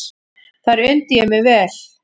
Þar undi ég mér vel.